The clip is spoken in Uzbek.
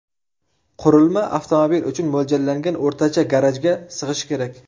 Qurilma avtomobil uchun mo‘ljallangan o‘rtacha garajga sig‘ishi kerak.